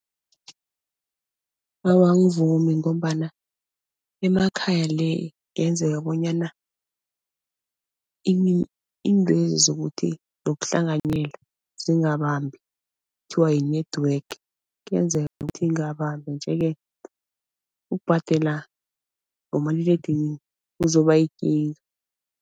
Awa angivumi ngombana emakhaya le kungenzeka bonyana iintwezi zokuthi zokuhlanganyelwa zingabambi kuthiwa yi-network kuyenzeka ukuthi ingabambi nje-ke ukubhadela ngomaliledinini kuzoba yikinga.